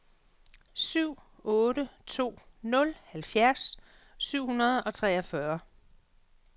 syv otte to nul halvfjerds syv hundrede og treogfyrre